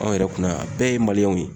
Anw yɛrɛ kunna yan bɛɛ ye ye.